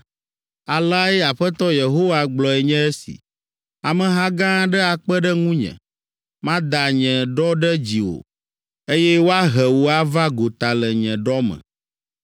“ ‘Aleae Aƒetɔ Yehowa gblɔe nye esi, “ ‘Ameha gã aɖe akpe ɖe ŋunye, Mada nye ɖɔ ɖe dziwò, Eye woahe wò ava gota le nye ɖɔ me.